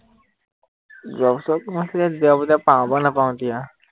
যোৱা বছৰ সোমাইছিলে এতিয়া পাও বা নাপাওঁ এতিয়া